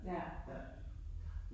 Ja